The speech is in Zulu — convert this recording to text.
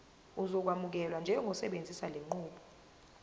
uzokwamukelwa njengosebenzisa lenqubo